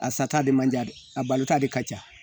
A sata de man jan dɛ a balo ta de ka ca